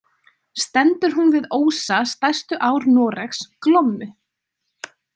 Stendur hún við ósa stærstu ár Noregs, Glommu.